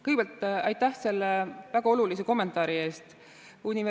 Kõigepealt aitäh selle väga olulise kommentaari eest!